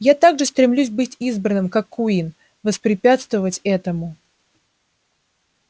я так же стремлюсь быть избранным как куинн воспрепятствовать этому